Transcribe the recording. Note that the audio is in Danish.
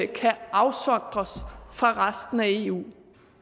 kan afsondres fra resten af eu